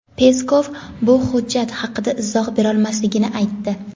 Peskov bu jihat haqida izoh berolmasligini aytdi.